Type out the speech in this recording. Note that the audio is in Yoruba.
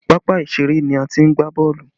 Pápá ìṣeré ni a ti ń gbá boolu